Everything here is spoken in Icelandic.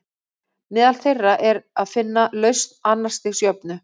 Meðal þeirra er að finna lausn annars stigs jöfnu.